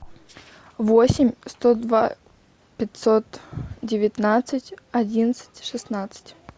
восемь сто два пятьсот девятнадцать одиннадцать шестнадцать